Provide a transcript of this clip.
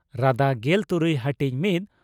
ᱨᱟᱫᱟ ᱺ ᱜᱮᱞ ᱛᱩᱨᱩᱭ ᱦᱟᱹᱴᱤᱧ ᱺ ᱢᱤᱛ